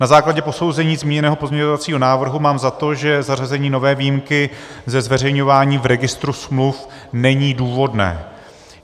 Na základě posouzení zmíněného pozměňovacího návrhu mám za to, že zařazení nové výjimky ze zveřejňování v registru smluv není důvodné.